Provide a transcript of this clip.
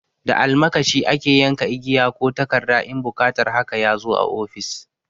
Da almakashi ake yanka igiya ko takarda in buƙatar haka ya zo a ofis.